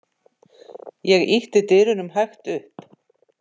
Ég ýtti dyrunum hægt upp.